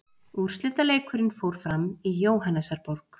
Úrslitaleikurinn fór fram í Jóhannesarborg.